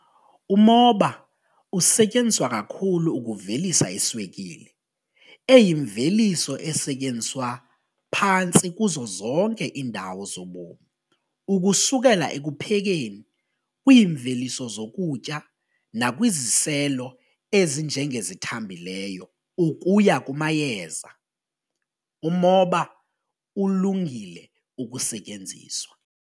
Umoba usetyenziswa kakhulu ukuvelisa iswekile eyimveliso esetyenziswa phantsi kuzo zonke iindawo zobomi ukusukela ekuphekeni, kwimveliso zokutya nakwiziselo ezinjengezithambileyo ukuya kumayeza umoba ulungile ukusetyenziswa.